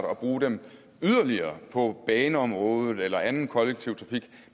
og bruge dem på baneområdet eller anden kollektiv trafik